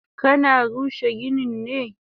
Kana rushe ginin ne?